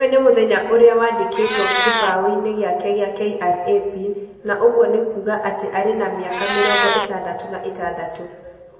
Ũyũ nĩ mũthenya ũrĩa wandĩkĩtwo kĩbaũinĩ gĩake kĩa KRA Pin, na ũguo nĩ kuuga atĩ arĩ na mĩaka mĩrongo ĩtandatũ na ĩtandatũ.